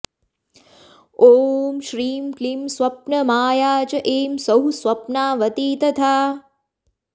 ॐ श्रीं क्लीं स्वप्नमाया च ऐं सौः स्वप्नावती तथा